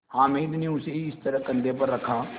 हामिद ने उसे इस तरह कंधे पर रखा